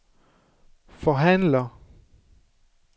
forhandler